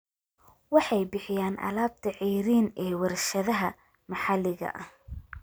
Waxay bixiyaan alaabta ceeriin ee warshadaha maxalliga ah.